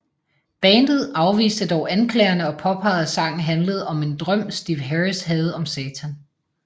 Bandet afviste dog anklagerne og påpegede at sangen handlede om en drøm Steve Harris havde om Satan